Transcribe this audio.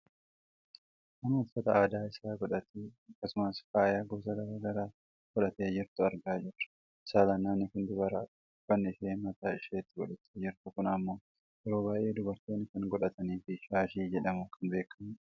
Nama uffata aadaa isaa godhatee akkasumas faaya gosa gara garaa godhattee jirtu argaa jirra. Saalaan namni kun dubaradha. Uffanni isheen mataa isheetti godhattee jirtu kun ammoo yeroo baayyee dubartoonni kan godhataniifi shaashii jedhamuun kan beekkamudha.